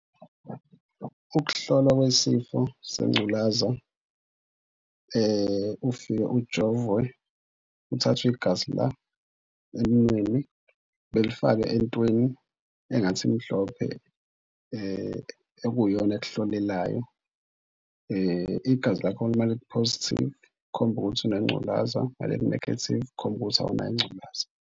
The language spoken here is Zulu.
Ukuhlolwa kwesifo sengculaza. Ufike ujovwe uthathwe igazi, la emunweni belifake entweni engathi imhlophe ekuyiyona ekuhlolelayo. Igazi lakho malithi positive kukhomba ukuthi unengculaza malithi negative kukhomba ukuthi awunayo ingculaza.